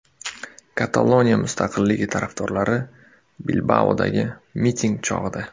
Kataloniya mustaqilligi tarafdorlari Bilbaodagi miting chog‘ida.